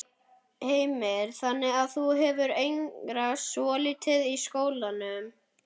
Heimir: Þannig að þú hefur einangrast svolítið í skólanum?